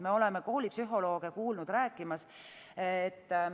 Me oleme kuulnud koolipsühholooge rääkimas.